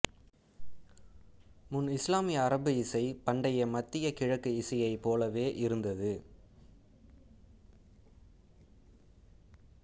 முன்இசுலாமிய அரபு இசை பண்டைய மத்திய கிழக்கு இசையை போலவே இருந்தது